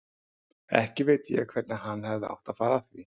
Ekki veit ég hvernig hann hefði átt að fara að því.